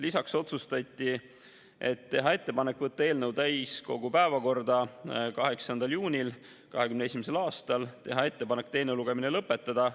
Lisaks otsustati teha ettepanek võtta eelnõu täiskogu päevakorda 8. juunil 2021. aastal ja teha ettepanek teine lugemine lõpetada.